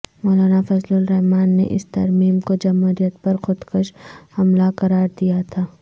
مولانا فضل الرحمان نے اس ترمیم کو جمہوریت پر خودکش حملہ قرار دیا تھا